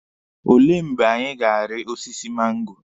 Olee mgbe anyị ga-ari osiso mango?